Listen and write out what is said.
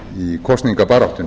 í kosningabaráttunni